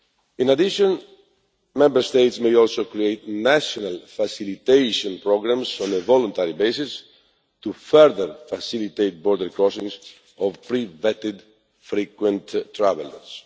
In addition, Member States may also create national facilitation programmes on a voluntary basis to further facilitate border crossings of pre-vetted frequent travellers.